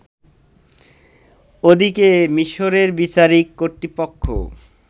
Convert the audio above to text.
ওদিকে, মিশরের বিচারিক কর্তৃপক্ষ